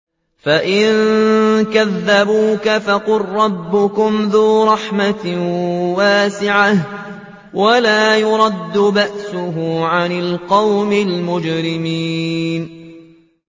فَإِن كَذَّبُوكَ فَقُل رَّبُّكُمْ ذُو رَحْمَةٍ وَاسِعَةٍ وَلَا يُرَدُّ بَأْسُهُ عَنِ الْقَوْمِ الْمُجْرِمِينَ